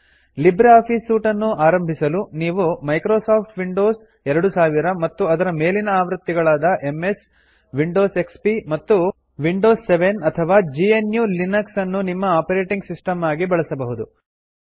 Libre office suite ನ್ನು ಆರಂಭಿಸಲು ನೀವು ಮೈಕ್ರೋಸಾಫ್ಟ್ ವಿಂಡೋಸ್ 2000 ಮತ್ತು ಅದರ ಮೇಲಿನ ಆವೃತ್ತಿಗಳಾದ ಎಂಎಸ್ ವಿಂಡೋಸ್ ಎಕ್ಸ್ಪಿ ಮತ್ತು ವಿಂಡೋಸ್ 7 ಅಥವಾ GNUಲಿನಕ್ಸ್ ನ್ನು ನಿಮ್ಮ ಆಪರೆಟಿಂಗ್ ಸಿಸ್ಟಂ ಆಗಿ ಬಳಸಬಹುದು